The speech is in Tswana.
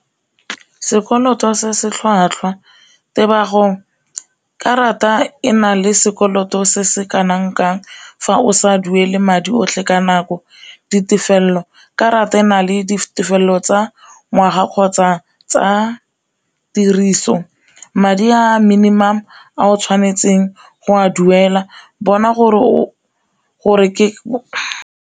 Sekoloto se se tlhwatlhwa, karata ena le sekoloto se se kanang kang fa o sa duele madi otlhe ka nako, ditefelelo karata e le ditefelelo tsa ngwaga kgotsa tsa tiriso madi a minimum a o tshwanetseng go a duela, bona gore ke .